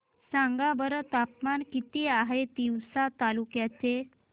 सांगा बरं तापमान किती आहे तिवसा तालुक्या चे